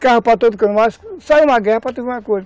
Carro para todo cano, mas sai uma guerra para tu ver uma coisa.